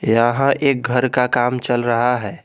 यहां एक घर का काम चल रहा है।